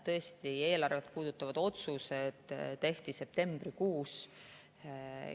Tõesti, eelarvet puudutavad otsused tehti septembrikuus.